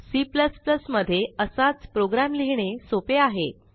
C मध्ये असाच program लिहिणे सोपे आहे